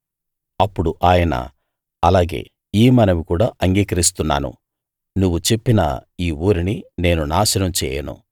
అప్పుడు ఆయన అలాగే ఈ మనవి కూడా అంగీకరిస్తున్నాను నువ్వు చెప్పిన ఈ ఊరిని నేను నాశనం చేయను